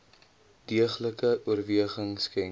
deeglike oorweging skenk